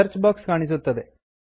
search box ಕಾಣಿಸುತ್ತದೆ